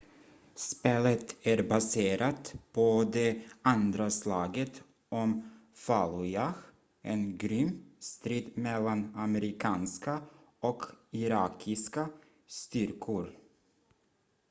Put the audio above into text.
spelet är baserat på det andra slaget om fallujah en grym strid mellan amerikanska och irakiska styrkor